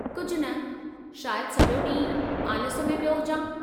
कुझु न, शायदि सॼो ॾींहुं आलिस में पियो हुजां।